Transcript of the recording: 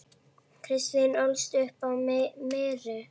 Kristín ólst upp á Mýri.